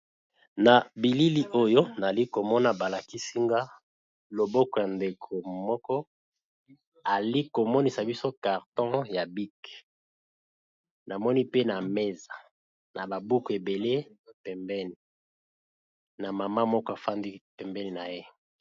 Nabilili oyo nazalikomona balakisinga loboko yandeko moko azali KO talisa biso carton ya bic pe na mesa na ba buku ebele pembeni na maman moko afandi pembeni na ye.